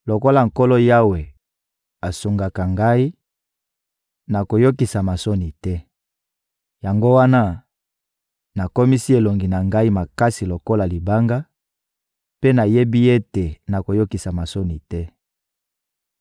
Lokola Nkolo Yawe asungaka ngai, nakoyokisama soni te. Yango wana, nakomisi elongi na ngai makasi lokola libanga, mpe nayebi ete nakoyokisama soni te.